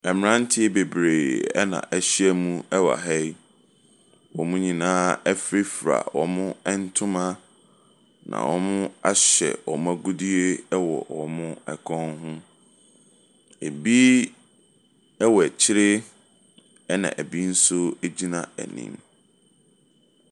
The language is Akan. Mmeranteɛ bebree na wɔahyiam wɔ ha yi. Wɔn nyinaa afurafura wɔn ntoma, na wɔahyɛ agudeɛ wɔ wɔn kɔn ho. Ebi wɔ akyire ɛnna ebi nso gyina anim.